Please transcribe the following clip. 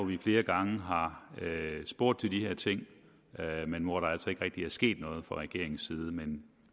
vi flere gange har spurgt til de her ting men hvor der altså ikke rigtig er sket noget fra regeringens side men